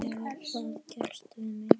Hefur það gerst við mig?